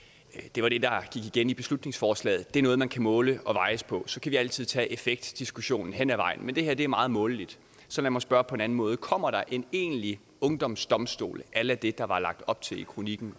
det var det der gik igen i beslutningsforslaget det er noget man kan måles og vejes på så kan vi altid tage effektdiskussionen hen ad vejen men det her er meget måleligt så lad mig spørge på en anden måde kommer der en egentlig ungdomsdomstol a la det der var lagt op til i kronikken